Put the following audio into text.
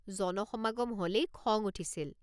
জনসমাগম হ'লেই খং উঠিছিল।